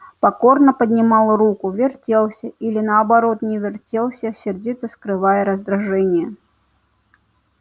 покорно поднимал руки вертелся или наоборот не вертелся сердито скрывая раздражение